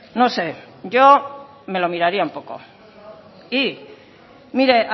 no sé yo me lo miraría un poco y mire